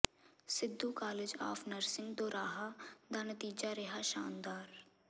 Sidhu college of nursing Doraha ਦਾ ਨਤੀਜਾ ਰਿਹਾ ਸ਼ਾਨਦਾਰ